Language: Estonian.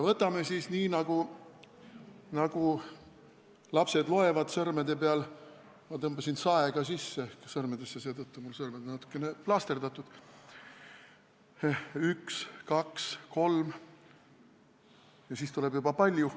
Loeme siis nii, nagu loevad lapsed, sõrmede peal – ma tõmbasin saega sõrmedesse sisse, seetõttu on mu sõrmed natukene plaasterdatud –, üks, kaks, kolm ja siis tuleb juba palju.